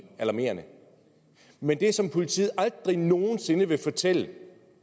alarmerende men det som politiet aldrig nogen sinde vil fortælle